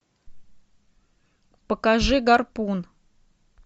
покажи гарпун